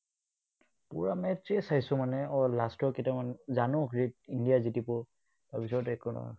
পুৰা match এই চাইছো মানে, last ৰ কেইটামান জানো India তাৰপিছত একো নহ'ল।